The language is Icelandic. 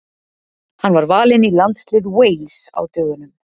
Hann var valinn í landslið Wales á dögunum.